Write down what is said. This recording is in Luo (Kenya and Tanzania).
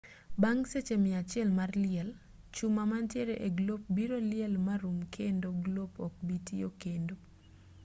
bang' seche mia achiel mar liel chuma mantiere e glop biro liel marum kendo glop ok bi tiyo kendo